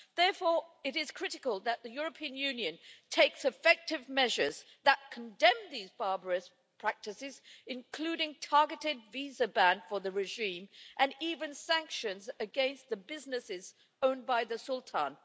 Therefore, it is critical that the European Union takes effective measures that condemn these barbarous practices, including a targeted visa ban for the regime and even sanctions against businesses owned by the Sultan.